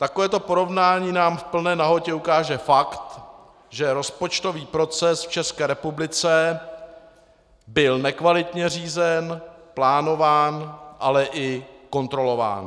Takovéto porovnání nám v plné nahotě ukáže fakt, že rozpočtový proces v České republice byl nekvalitně řízen, plánován, ale i kontrolován.